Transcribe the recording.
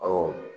Awɔ